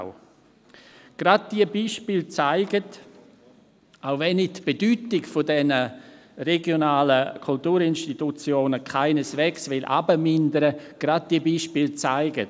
Auch wenn ich die Bedeutung dieser regionalen Kulturinstitutionen keineswegs herabmindern will, zeigen gerade diese Beispiele: